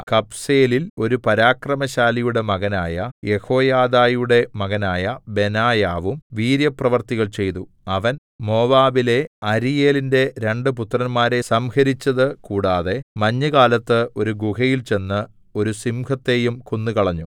കബ്സേലിൽ ഒരു പരാക്രമശാലിയുടെ മകനായ യെഹോയാദയുടെ മകനായ ബെനായാവും വീര്യപ്രവൃത്തികൾ ചെയ്തു അവൻ മോവാബിലെ അരീയേലിന്റെ രണ്ടു പുത്രന്മാരെ സംഹരിച്ചത് കൂടാതെ മഞ്ഞുകാലത്ത് ഒരു ഗുഹയിൽ ചെന്നു ഒരു സിംഹത്തെയും കൊന്നുകളഞ്ഞു